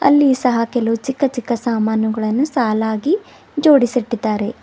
ಇಲ್ಲಿಯೂ ಸಹ ಕೆಲವು ಚಿಕ್ಕ ಚಿಕ್ಕ ಸಾಮಾನುಗಳನ್ನು ಸಾಲಾಗಿ ಜೋಡಿಸುತ್ತಿದ್ದಾರೆ.